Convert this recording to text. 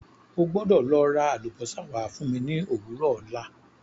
O gbọ́dọ̀ lọ ra àlùbósà wá fún mi ní òwúrọ̀ ọ̀la.